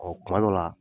Ɔ kuma dɔ la